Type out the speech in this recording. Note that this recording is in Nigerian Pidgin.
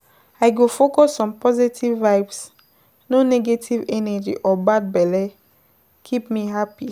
I go focus on positive vibes, no negative energy or bad belle, keep me happy.